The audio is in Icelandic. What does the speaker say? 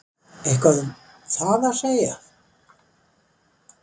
Eitthvað um það að segja?